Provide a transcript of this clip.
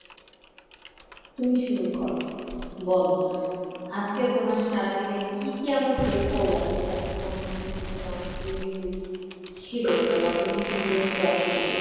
তুমি শুরু করো, বলো। আজকে তোমার সারাদিনে কী কী এমন face করলা যেটাতে তোমার মনে হয়েছে যে অনেক দুর্নীতি ছিল ওটা বা দুর্নীতিগ্রস্ত activities।